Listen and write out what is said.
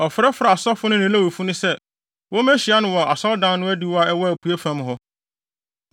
Ɔfrɛfrɛɛ asɔfo no ne Lewifo no sɛ, wommehyia no wɔ Asɔredan no adiwo a ɛwɔ apuei fam hɔ.